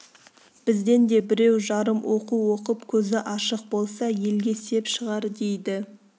бізден де біреу-жарым оқу оқып көзі ашық болса елге сеп шығар дейді